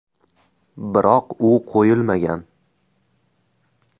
Biroq u qo‘yilmagan.